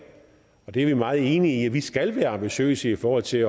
er vi meget enige i at vi skal være ambitiøse i forhold til